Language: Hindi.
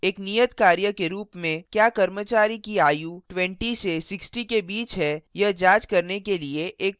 एक नियतकार्य के रूप में क्या कर्मचारी की आयु 20 से 60 के बीच है यह जांच करने के लिए एक program लिखें